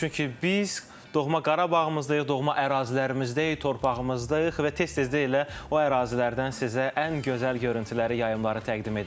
Çünki biz doğma Qarabağdayıq, doğma ərazilərimizdəyik, torpağımızdayıq və tez-tez də elə o ərazilərdən sizə ən gözəl görüntüyləri, yayımları təqdim edirik.